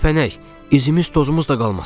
De tərpənək, üzümüz tozumuz da qalmasın.